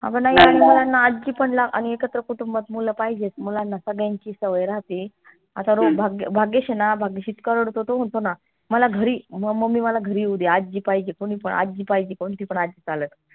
अग नाही लहान मुलांना आज्जी पण लागते आणि एकत्र कुटुंबात मूल पाहिजेत मुलांना सगळ्यांची सवय राहते आता रो भाग्येश भाग्येश आहे ना भाग्येश इतका रडतो तो म्हनतो ना मला घरी mummy मला घरी येऊदे आजी पाहिजे कोणी पण आजी पाहिजे कोणती पण आज्जी चालल